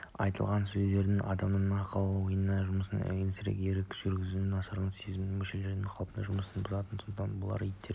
айтылған сезімдер адамның ақыл-ойының жұмысын әлсіретіп ерік-жігерін нашарлатады сезім мүшелерінің қалыпты жұмысын бұзады содан бұлшық еттер